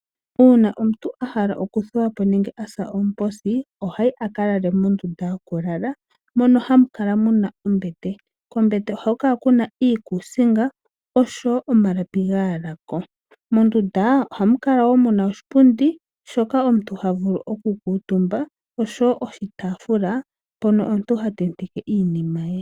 Uuna omuntu ahala oku thuwapo nenge asa oomposi ohayi akalale mondunda yo ku lala mono hamu kala muna ombete. Kombete ohaku kala kuna iikuusinga oshowo omalapi gayalako . Mondunda ohamukala woo muna oshipundi shoka omuntu ha vulu oku kuutumba oshowo oshitaafula mpono omuntu hatenteke iinima ye.